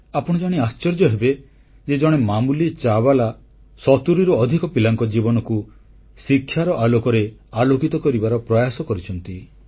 ଆପଣ ଜାଣି ଆଶ୍ଚର୍ଯ୍ୟ ହେବେ ଯେ ଜଣେ ମାମୁଲି ଚାବାଲା ସତୁରୀରୁ ଅଧିକ ପିଲାଙ୍କ ଜୀବନକୁ ଶିକ୍ଷାର ଆଲୋକରେ ଆଲୋକିତ କରିବାର ପ୍ରୟାସ କରିଛନ୍ତି